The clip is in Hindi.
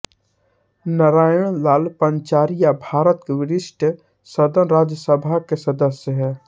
नारायण लाल पंचारिया भारत के वरिष्ठ सदन राज्यसभा के सदस्य हैं